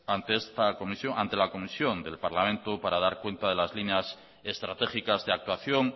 ante la comisión del parlamento para dar cuenta de las líneas estratégicas de actuación